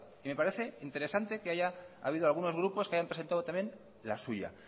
me parece interesante que haya habido algunos grupos que hayan presentado también la suya